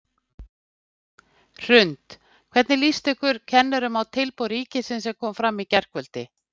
Hrund: Hvernig líst ykkur kennurum á tilboð ríkisins sem kom fram í gærkvöldi?